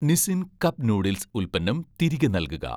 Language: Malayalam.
നിസിൻ' കപ്പ് നൂഡിൽസ് ഉൽപ്പന്നം തിരികെ നൽകുക